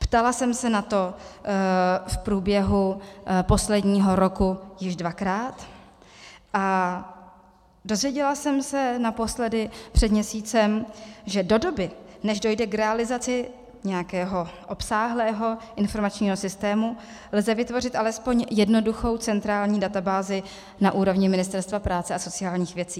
Ptala jsem se na to v průběhu posledního roku již dvakrát a dozvěděla jsem se naposledy před měsícem, že do doby, než dojde k realizaci nějakého obsáhlého informačního systému, lze vytvořit alespoň jednoduchou centrální databázi na úrovni Ministerstva práce a sociálních věcí.